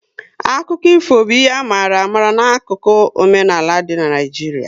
Akụkọ ifo bụ ihe a mara amala 'akụkụ omenaala dị n' Naijiria